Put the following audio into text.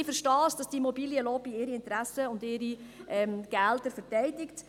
Ich verstehe, dass die Immobilienlobby ihre Interessen und ihre Gelder verteidigt.